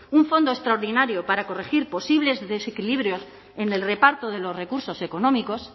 un fondo extraordinario para corregir posibles desequilibrios en el reparto de los recursos económicos